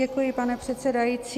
Děkuji, pane předsedající.